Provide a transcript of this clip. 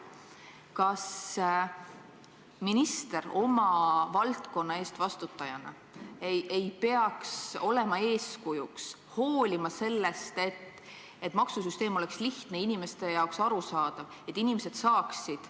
Kas minister oma valdkonna eest vastutajana ei peaks olema eeskujuks, muretsema selle eest, et maksusüsteem oleks lihtne, inimeste jaoks arusaadav, et inimesed saaksid ...